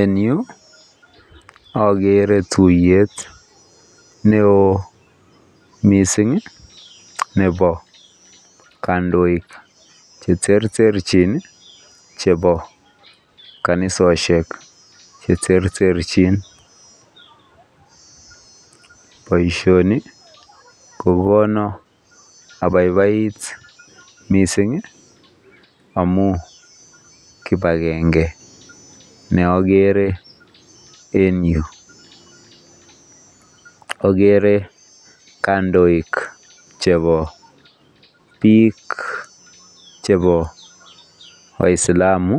En Yu agere tuiyet neon mising Nebo kandoik cheterter chebo kanisoshek cheterterchin Baishonik Konan abaibait mising amun kibagenge neagere en Yu agere kandoik chebo bik chebo waislamu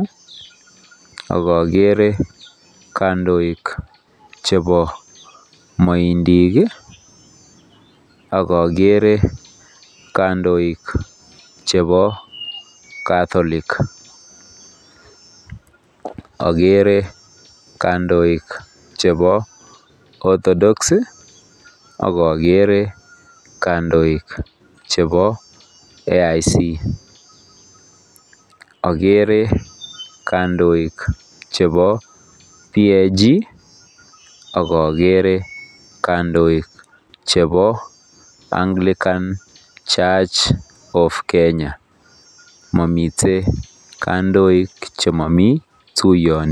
agere kandoik chebo maindik akoagere kandoik chebo Catholic agere kandoik chebo to dox agagere kandoik chebo AIC agere kandoik chebo page akoagere kandoik Anglican Church of kenya mamiten kandoik chemamii tuiyoni